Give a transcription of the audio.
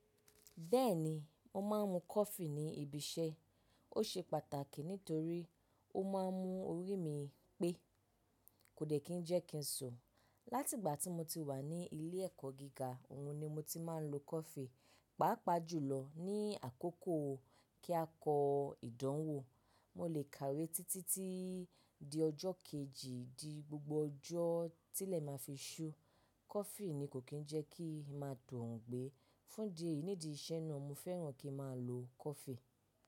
Bẹ́ẹ̀ni, mo máa ń mu coffee ní ibi iṣẹ́. Ó ṣe pàtàkì nítorí ó máa ń mú orí mi pé, kò dẹ̀ kí jẹ́ kí n sun. Láti ìgbà tí mo ti wà ní ilé ẹ̀kọ́ gíga, òhun ni mo ti máa ń lo coffee. Pàápàá jùlọ ní àkókò kí a kọ ìdánwò. Mo lè kàwé títí di ọjọ́ kejì di gbogbo ọjọ́ tílẹ̀ ma fi ṣú. Coffee ni kò kí ń jẹ́ kí maa t'ongbé. Fún di eyi n'ídi iṣẹ́ náà, mo fẹ́ràn kí a máa lo coffee.